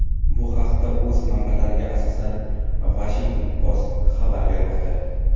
Bu haqda, o‘z manbalariga asoslanib, Washington Post xabar bermoqda.